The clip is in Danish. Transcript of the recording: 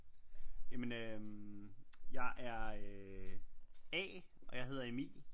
Ja men øh jeg er A og jeg hedder Emil